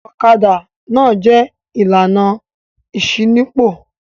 Ọ̀kadà náà jẹ̀ ìlànà ìṣínípò.